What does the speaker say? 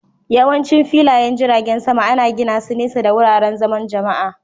Yawancin filayen jiragen sama ana gina su nesa da wuraren zaman Jama'a